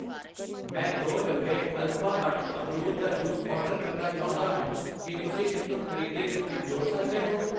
ਮੈਂ ਦੋ, ਡੱਬੇ ਅਲਫਾ ਅੱਠ ਅਮਰੂਦ ਦਾ ਜੂਸ ਆਰਡਰ ਕਰਨਾ ਚਾਉਂਦਾ ਹਾਂ, ਕਿ ਤੁਸੀਂ ਇਸਨੂੰ ਖਰੀਦੀ ਲਿਸਟ ਵਿੱਚ ਜੋੜ ਸਕਦੇ ਹੋ ?